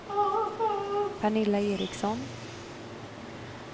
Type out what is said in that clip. Pernilla Ericsson